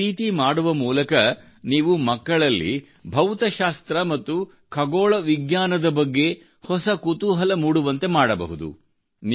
ಈ ರೀತಿ ಮಾಡುವ ಮೂಲಕ ನೀವು ಮಕ್ಕಳಲ್ಲಿ ಭೌತಶಾಸ್ತ್ರ ಮತ್ತು ಖಗೋಳ ವಿಜ್ಞಾನದ ಬಗ್ಗೆ ಮಕ್ಕಳಲ್ಲಿ ಹೊಸ ಕುತೂಹಲ ಮೂಡುವಂತೆ ಮಾಡಬಹುದು